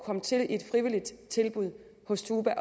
komme til i et frivilligt tilbud hos tuba